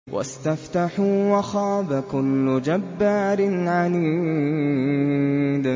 وَاسْتَفْتَحُوا وَخَابَ كُلُّ جَبَّارٍ عَنِيدٍ